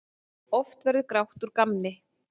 Oft verður grátt úr gamni.